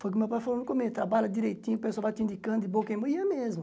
Foi o que meu pai falou no come, trabalha direitinho, o pessoal vai te indicando de boca em bo, e é mesmo.